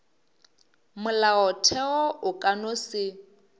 molaotheo o ka no se